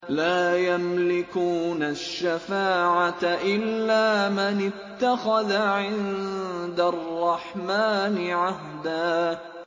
لَّا يَمْلِكُونَ الشَّفَاعَةَ إِلَّا مَنِ اتَّخَذَ عِندَ الرَّحْمَٰنِ عَهْدًا